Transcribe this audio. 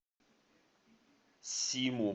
симу